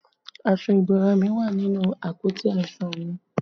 Aṣọ ìbora mi wà nínú àpótí aṣọ mi